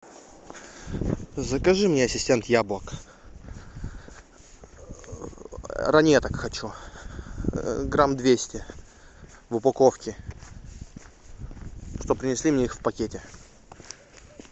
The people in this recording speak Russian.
закажи мне ассистент яблок ранеток хочу грамм двести в упаковке чтоб принесли мне их в пакете